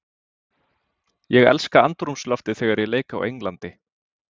Ég elska andrúmsloftið þegar ég leik á Englandi.